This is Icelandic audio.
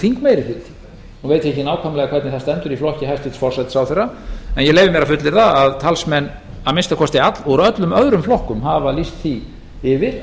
þingmeirihluti nú veit ég ekki nákvæmlega hvernig það stendur í flokki hæstvirtur forsætisráðherra en ég leyfi mér að fullyrða að talsmenn að minnsta kosti úr öllum öðrum flokkum hafa lýst því yfir að